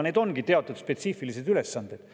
Need ongi teatud spetsiifilised ülesanded.